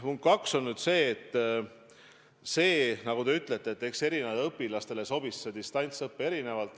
Punkt 2 on see, et nagu te ütlete, erinevatele õpilastele sobis distantsõpe erinevalt.